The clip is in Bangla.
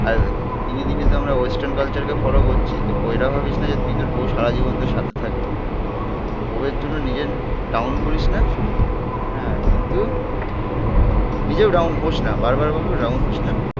আর দিনে দিনে তো আমরা ওয়েস্টার্ন কালচার কে ফলো করছি. তো বৌয়রা ভাবিস না যে তুই তোর বউ সারাজীবন তোর সাথে থাকবে. বৌয়ের জন্য নিজের ডাউন করিস না. হ্যাঁ. কিন্তু নিজেও ডাউন হোস না, বারবার বলব ডাউন হোস না?